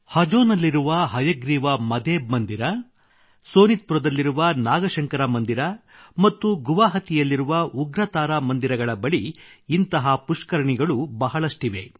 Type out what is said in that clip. ಹಜೊನಲ್ಲಿರುವ ಹಯಗ್ರೀವ ಮದೇಬ್ ಮಂದಿರ ಸೋನಿತ್ ಪುರದಲ್ಲಿರುವ ನಾಗಶಂಕರ ಮಂದಿರ ಮತ್ತು ಗುವಾಹಾಟಿಯಲ್ಲಿರುವ ಉಗ್ರತಾರಾ ಮಂದಿಗಳ ಬಳಿ ಇಂಥ ಪುಷ್ಕರಣಿಗಳು ಬಹಳಷ್ಟಿವೆ